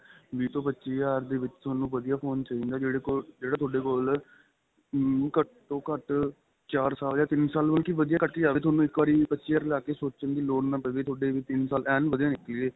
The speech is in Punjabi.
ਵਿੱਚ ਤੋਂ ਪੱਚੀ ਹਜ਼ਾਰ ਦੇ ਵਿੱਚ ਤੁਹਾਨੁੰ ਵਧੀਆ phone ਚਾਹੀਦਾ ਜਿਹੜੇ ਕੋਲ ਜਿਹੜਾ ਤੁਹਾਡੇ ਕੋਲ ਉਮ ਘੱਟ ਤੋਂ ਘੱਟ ਚਾਰ ਸਾਲ ਜਾਂ ਤਿੰਨ ਸਾਲ ਵਧੀਆ ਕੱਟ ਕੇ ਜਾਵੇ ਤੁਹਾਨੂੰ ਇੱਕ ਵਾਰੀ ਵੀਹ ਪੱਚੀ ਹਜ਼ਾਰ ਲਾ ਕੇ ਸੋਚਣ ਦੀ ਲੋੜ ਨਾ ਪਵੇ ਤੁਹਾਡੇ ਤਿੰਨ ਸਾਲ ਏਨ ਵਧੀਆ ਨਿਕਲੇ